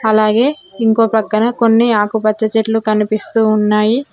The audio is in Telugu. అలాగే ఇంకో ప్రక్కన కొన్ని ఆకుపచ్చ చెట్లు కనిపిస్తూ ఉన్నాయి.